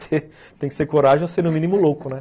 Tem que ter coragem ou ser no mínimo louco, né?